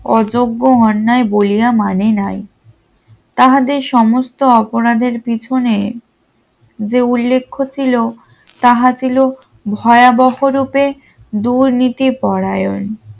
অযোগ্য অন্যায় বলিয়া মানে নাই তাহাদের সমস্ত অপরাধের পিছনে যে উল্লেখ্য ছিল তাহা ছিল ভয়াবহ রূপে দুর্নীতি পরায়ণ